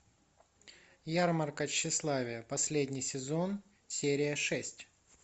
ярмарка тщеславия последний сезон серия шесть